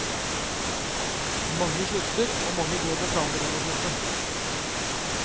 Mange slutter, og mange går med planer om å slutte.